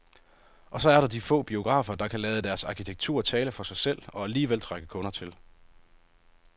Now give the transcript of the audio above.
Og så er der de få biografer , der kan lade deres arkitektur tale for sig selv og alligevel trække kunder til.